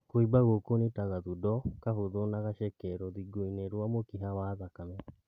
Kũimba gũkũ nĩ ta gathundo kahũthũ na gaceke rũthingo-inĩ rwa mũkiha wa thakame